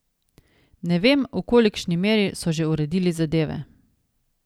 Ne vem, v kolikšni meri so že uredili zadeve.